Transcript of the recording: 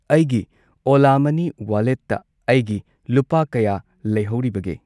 ꯑꯩꯒꯤ ꯑꯣꯂꯥ ꯃꯅꯤ ꯋꯥꯂꯦꯠꯇ ꯑꯩꯒꯤ ꯂꯨꯄꯥ ꯀꯌꯥ ꯂꯩꯍꯧꯔꯤꯕꯒꯦ?